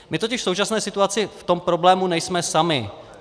My totiž v současné situaci v tom problému nejsme sami.